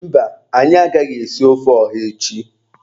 Mba, anyị agaghị esi ofe ọha echi.